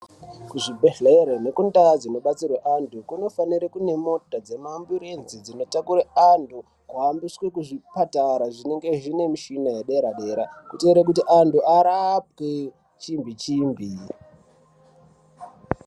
Kuzvibhedhleri nekundau kunobetserwe anyu kunofanire kune mota dzema amburenzi dzinotakure antu kuhambiswe kuzvipatara zvinenge zvine mishina yedera dera kuite kuti antu arapwe chimbi chimbi.